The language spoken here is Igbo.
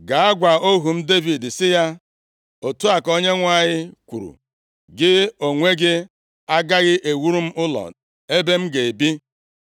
“Gaa gwa ohu m Devid sị ya, ‘Otu a ka Onyenwe anyị kwuru: Gị onwe gị agaghị ewuru m ụlọ ebe m ga-ebi,